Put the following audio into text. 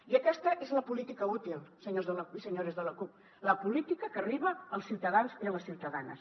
i aquesta és la política útil senyors i senyores de la cup la política que arriba als ciutadans i a les ciutadanes